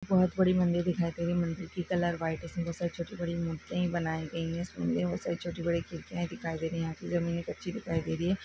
बहुत बड़ी मंदिर दिखाई दे रही है मंदिर की कलर व्हाइट है जिसमे छोटी बड़ी मूर्तिया भी बनाई गई है इस मंदिर में छोटी बड़ी खिड़किया दिखाई दे रही है यहा की जमीने कछी दिखाई दे रही है।